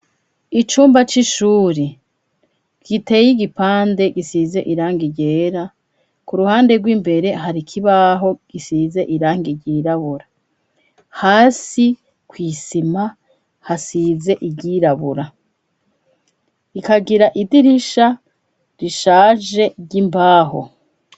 Icumba c'ishuri giteye igipande gisize iranga iryera ku ruhande rw'imbere hari kibaho gisize iranga iryirabura hasi kw'isima hasize iryirabura ikagira idirisha rishaje imbaho.